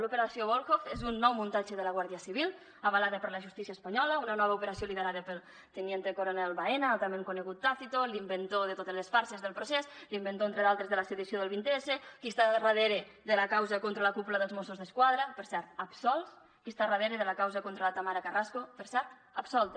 l’operació volhov és un nou muntatge de la guàrdia civil avalat per la justícia espanyola una nova operació liderada pel teniente coronel baena altrament conegut tácito l’inventor de totes les farses del procés l’inventor entre d’altres de la sedició del vint s qui està darrere de la causa contra la cúpula dels mossos d’esquadra per cert absolts qui està darrere de la causa contra la tamara carrasco per cert absolta